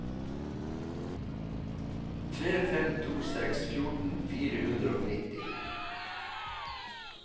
tre fem to seks fjorten fire hundre og nitti